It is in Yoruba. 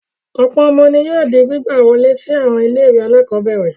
Ọ̀pọ̀ ọmọ ni yóò di gbígbà wọlé sí àwọn ilé-ìwé alákọ̀ọ́bẹ̀rẹ̀.